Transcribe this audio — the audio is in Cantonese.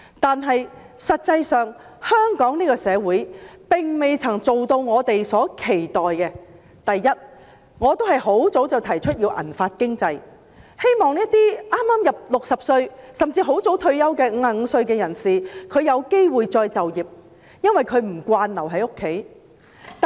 不過，香港社會實際上並未做到我們所期待的幾點：第一，我很早便已提出建立"銀髮經濟"，希望讓剛踏入60歲、甚至在55歲便很早退休的人士有機會再就業，因為他們不習慣留在家中。